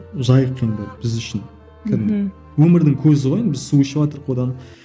жайықтың бір біз үшін кәдімгі өмірдің көзі ғой енді біз су ішіватырық одан